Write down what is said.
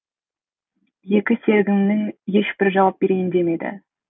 екі серігімнің ешбірі жауап берейін демеді